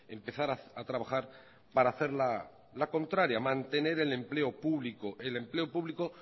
empezar a trabajar para hacer la contraria mantener el empleo público el empleo público